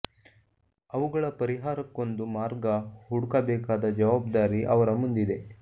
ಅವುಗಳ ಪರಿಹಾರಕ್ಕೊಂದು ಮಾರ್ಗ ಹುಡುಕ ಬೇಕಾದ ಜವಾಬ್ದಾರಿ ಅವರ ಮುಂದಿದೆ